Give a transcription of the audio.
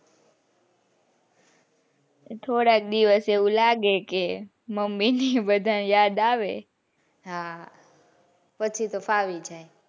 થોડાક દિવસ એવું લાગે કે mummy ને બધા ની યાદ આવે હા પછી તો ફાવી જાય.